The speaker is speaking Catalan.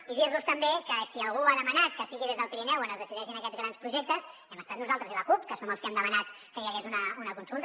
i dir los també que si algú ha demanat que sigui des del pirineu on es decideixin aquests grans projectes hem estat nosaltres i la cup que som els que hem demanat que hi hagués una consulta